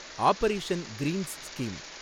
operation Greens scheme